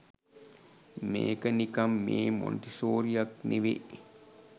මේක නිකන් මේ මොන්ටිසෝරියක් නෙවේ